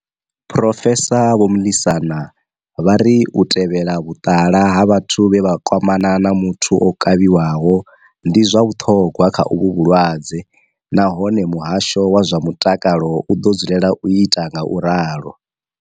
Phrofesa vho Mlisana vha ri u tevhela vhuṱala ha vhathu vhe vha kwamana na muthu o kavhiwaho ndi zwa vhuṱhogwa kha uvhu vhu lwadze nahone muhasho wa zwa mutakalo u ḓo dzulela u ita ngauralo.